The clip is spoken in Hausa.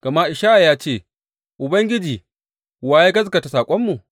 Gama Ishaya ya ce, Ubangiji, wa ya gaskata saƙonmu?